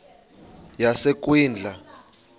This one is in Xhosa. yasekwindla